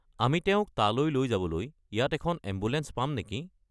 আমি তেওঁক তালৈ লৈ যাবলৈ ইয়াত এখন এম্বুলেঞ্চ পাম নেকি?